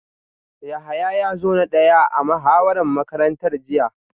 Yahaya ya zo na daya a muhawarar makarantar jiya